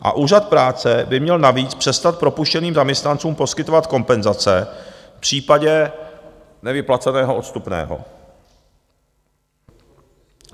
A úřad práce by měl navíc přestat propuštěným zaměstnancům poskytovat kompenzace v případě nevyplaceného odstupného.